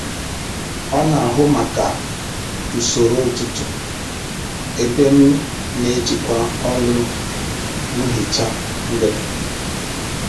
Ọ n'ahụ maka usoro ụtụtụ, ebe m n'ejikwa ọlụ nhicha mgbede